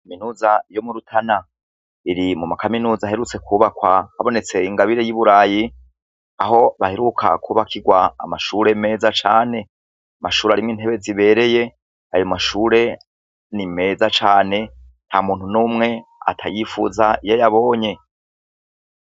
Kaminuza yo mu Rutana, iri muma kaminuza aherutse kwubakwa habonetse ingabire y'i burayi aho baheruka kubakirwa amashure meza cane, amashure arimwo intebe zibereye, ayo mashure ni meza cane, nta muntu numwe atayipfuza iyo ayabonye.